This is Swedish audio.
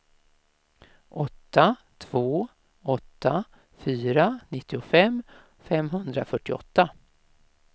åtta två åtta fyra nittiofem femhundrafyrtioåtta